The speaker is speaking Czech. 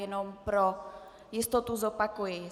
Jenom pro jistotu zopakuji.